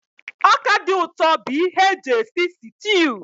Ọka dị ụtọ bụ ihe eji esi sịtịụ